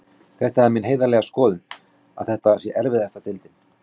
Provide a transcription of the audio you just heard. Það er mín heiðarlega skoðun að þetta sé erfiðasta deildin.